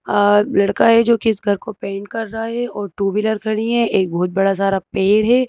अ लड़का है जो कि इस घर को पेंट कर रहा है और टू व्हीलर खड़ी हैं एक बहुत बड़ा सारा पेड़ है।